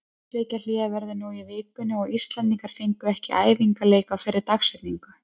Landsleikjahlé verður nú í vikunni og Íslendingar fengu ekki æfingaleik á þeirri dagsetningu.